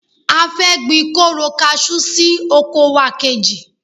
A fẹ́ gbin koro kasú sí oko wa kejì.